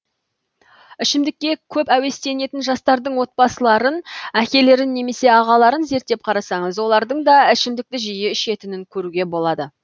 ішімдікке көп әуестенетін жастардың отбасыларын әкелерін немесе ағаларын зерттеп қарасаңыз олардың да ішімдікті жиі ішетінін көруге болады